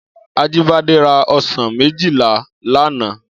Ajibade rá òsán méjilá làná